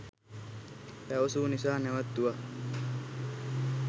පැවසූ නිසා නැවැත්තුවා